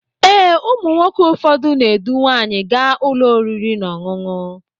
Ee, ụmụ nwoke ụfọdụ na edu nwanyi gaa ụlọ oriri na ọṅụṅụ